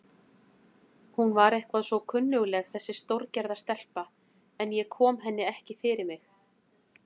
Hún var eitthvað svo kunnugleg þessi stórgerða stelpa, en ég kom henni ekki fyrir mig.